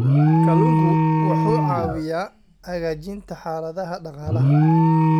Kalluunku wuxuu caawiyaa hagaajinta xaaladaha dhaqaalaha.